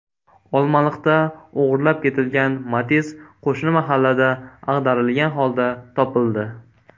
Olmaliqda o‘g‘irlab ketilgan Matiz qo‘shni mahallada ag‘darilgan holda topildi.